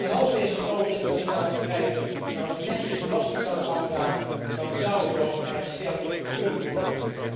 En als deze grote internationale bedrijven nu eens netjes belasting zouden afdragen, dan zou de overheid sterker kunnen worden.